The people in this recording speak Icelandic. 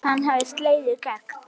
Hann hafði slegið í gegn.